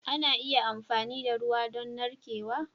Ana iya amfani da ruwa don narkewa.